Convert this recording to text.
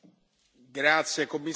La discussione è chiusa.